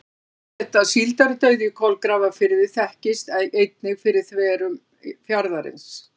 Þess má geta að síldardauði í Kolgrafafirði þekktist einnig fyrir þverun fjarðarins.